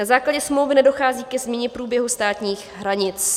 Na základě smlouvy nedochází ke změně průběhu státních hranic.